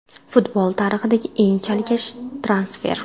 Futbol tarixidagi eng chalkash transfer.